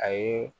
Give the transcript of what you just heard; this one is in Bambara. A ye